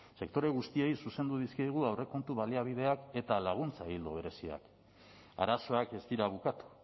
sektore guztiei zuzendu dizkiegu aurrekontu baliabideak eta laguntza ildo bereziak arazoak ez dira bukatu